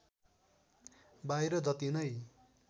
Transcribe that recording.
बाहिर जति नै